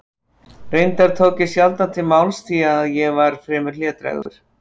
Reyndar tók ég sjaldan til máls því að ég var fremur hlédrægur.